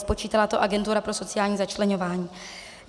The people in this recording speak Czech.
Spočítala to Agentura pro sociální začleňování.